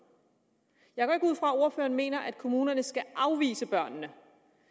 jeg at ordføreren mener at kommunerne skal afvise børnene